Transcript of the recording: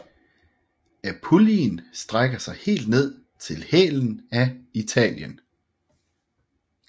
Apulien strækker sig helt ned i hælen af Italien